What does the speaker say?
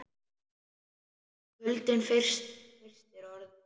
Kuldinn frystir orð mín.